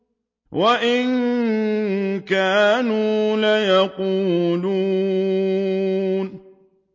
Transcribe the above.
وَإِن كَانُوا لَيَقُولُونَ